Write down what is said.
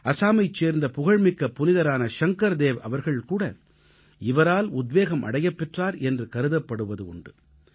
அஸாமைச் சேர்ந்த புகழ்மிக்க புனிதரான ஷங்கர்தேவ் அவர்கள் கூட இவரால் உத்வேகம் அடையப் பெற்றார் என்று கருதப்படுவது உண்டு